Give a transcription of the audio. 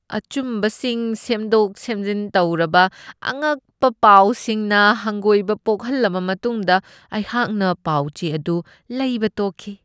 ꯑꯆꯨꯝꯕꯁꯤꯡ ꯁꯦꯝꯗꯣꯛ ꯁꯦꯝꯖꯤꯟ ꯇꯧꯔꯕ ꯑꯉꯛꯄ ꯄꯥꯎꯁꯤꯡꯅ ꯍꯪꯒꯣꯏꯕ ꯄꯣꯛꯍꯜꯂꯕ ꯃꯇꯨꯡꯗ ꯑꯩꯍꯥꯛꯅ ꯄꯥꯎ ꯆꯦ ꯑꯗꯨ ꯂꯩꯕ ꯇꯣꯛꯈꯤ ꯫